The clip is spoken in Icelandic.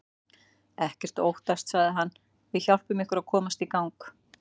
Ekkert að óttast sagði hann, við hjálpum ykkur að komast í gang.